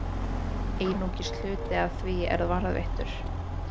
Einungis hluti af því er varðveittur.